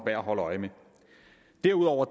at holde øje med derudover